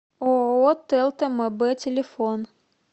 ооо телта мб телефон